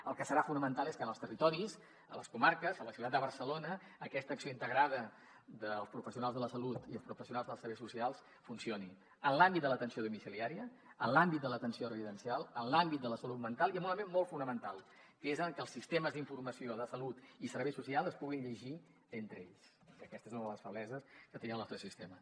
el que serà fonamental és que en els territoris a les comarques a la ciutat de barcelona aquesta acció integrada dels professionals de la salut i els professionals dels serveis socials funcioni en l’àmbit de l’atenció domiciliària en l’àmbit de l’atenció residencial en l’àmbit de la salut mental i amb un element molt fonamental que és que els sistemes d’informació de salut i serveis socials es puguin llegir entre ells que aquesta és una de les febleses que tenia el nostre sistema